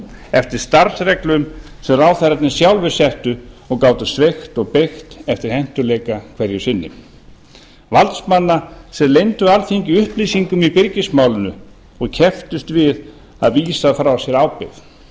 eftir starfsreglum sem ráðherrarnir sjálfir settu og gátu sveigt og beygt eftir hentugleika hverju sinni valdsmanna sem leyndu alþingi upplýsingum í byrgismálinu og kepptust við að vísa frá sér ábyrgð